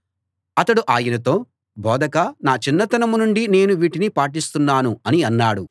అతడు ఆయనతో బోధకా నా చిన్నతనం నుండి నేను వీటిని పాటిస్తున్నాను అని అన్నాడు